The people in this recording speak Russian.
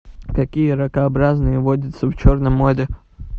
какие ракообразные водятся в черном море